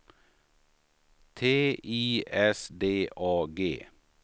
T I S D A G